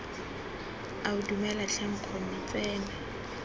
ao dumela tlhe nkgonne tsena